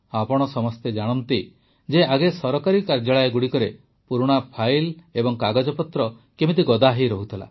ଆପଣ ସମସ୍ତେ ଜାଣନ୍ତି ଯେ ଆଗେ ସରକାରୀ କାର୍ଯ୍ୟାଳୟଗୁଡ଼ିକରେ ପୁରୁଣା ଫାଇଲ୍ ଓ କାଗଜପତ୍ର କେମିତି ଗଦାହୋଇ ରହୁଥିଲା